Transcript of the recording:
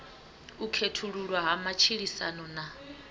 u khethululwa ha matshilisano na